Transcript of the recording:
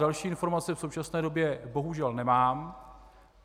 Další informace v současné době bohužel nemám.